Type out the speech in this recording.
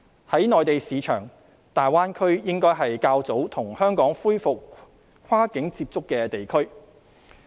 在內地市場，大灣區應該是較早跟香港恢復跨境接觸的地區。